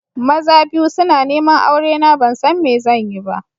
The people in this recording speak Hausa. Maza biyu suna neman aurena ban san me zan yi ba.